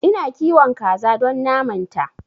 Ina kiwon kaza don naman ta